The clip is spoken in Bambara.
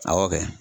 Awɔ kɛ